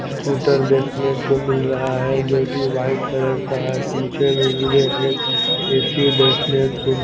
scooter देखने को मिल रहा है जोकि व्हाइट कलर का है पीछे में मुझे एक ऐ_सी देखने को--